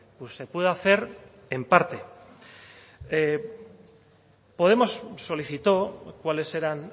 pues se puede hacer en parte podemos solicitó cuáles eran